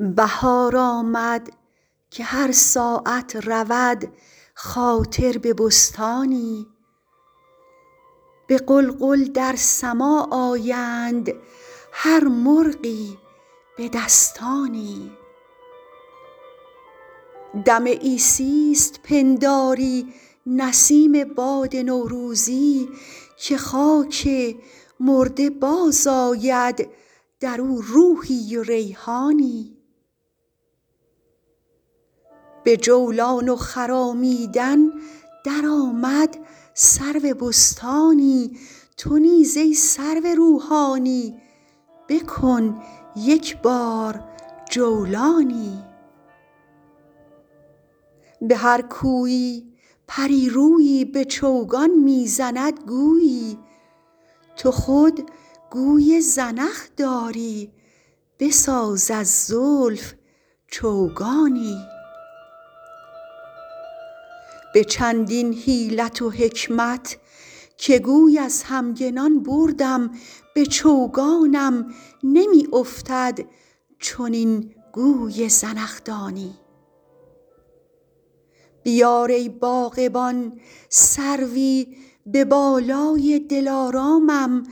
بهار آمد که هر ساعت رود خاطر به بستانی به غلغل در سماع آیند هر مرغی به دستانی دم عیسیست پنداری نسیم باد نوروزی که خاک مرده باز آید در او روحی و ریحانی به جولان و خرامیدن در آمد سرو بستانی تو نیز ای سرو روحانی بکن یک بار جولانی به هر کویی پری رویی به چوگان می زند گویی تو خود گوی زنخ داری بساز از زلف چوگانی به چندین حیلت و حکمت که گوی از همگنان بردم به چوگانم نمی افتد چنین گوی زنخدانی بیار ای باغبان سروی به بالای دلارامم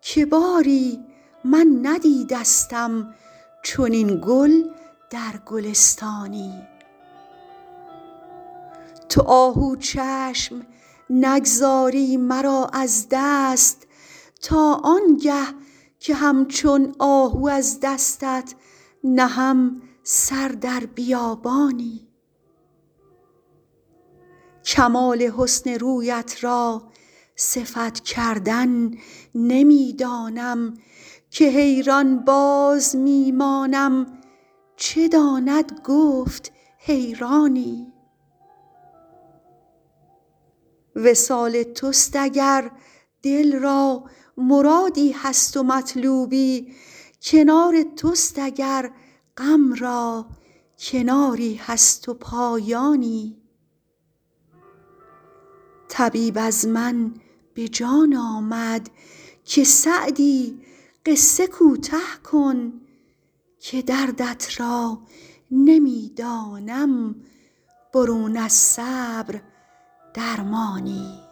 که باری من ندیدستم چنین گل در گلستانی تو آهو چشم نگذاری مرا از دست تا آن گه که همچون آهو از دستت نهم سر در بیابانی کمال حسن رویت را صفت کردن نمی دانم که حیران باز می مانم چه داند گفت حیرانی وصال توست اگر دل را مرادی هست و مطلوبی کنار توست اگر غم را کناری هست و پایانی طبیب از من به جان آمد که سعدی قصه کوته کن که دردت را نمی دانم برون از صبر درمانی